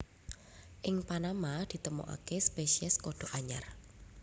Ing Panama ditemokaké spésiés kodhok anyar